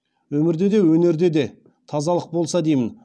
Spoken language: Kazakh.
өмірде де өнерде де тазалық болса деймін